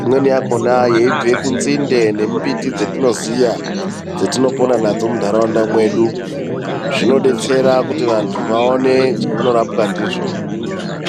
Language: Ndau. imweni yakhona yeibve kunzinde nemumbiti dzetinoziya dzetinopona nadzo muntaraunda mwedu. Zvinodetsera kuti vantu vaone zvevanorapwa ndizvo.